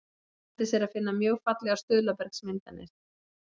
Erlendis er að finna mjög fallegar stuðlabergsmyndanir.